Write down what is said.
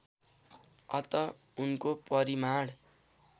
अत उनको परिमाण